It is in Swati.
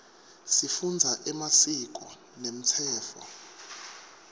sifundza emasiko nemtsetfo